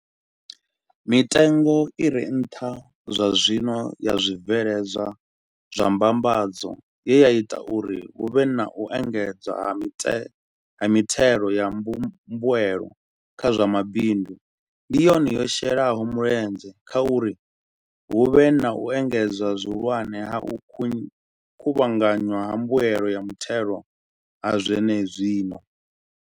Mitengo i re nṱha zwazwino ya zwibveledzwa zwa mbambadzo, ye ya ita uri hu vhe na u engedzea ha mithelo ya mbuelo kha zwa mabindu, ndi yone yo shelaho mulenzhe kha uri hu vhe na u engedzea zwihulwane ha u kuvhanganywa ha mbuelo ya muthelo ha zwenezwino.